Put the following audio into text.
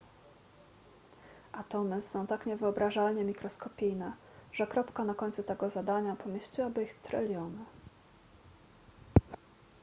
atomy są tak niewyobrażalnie mikroskopijne że kropka na końcu tego zadania pomieściłaby ich tryliony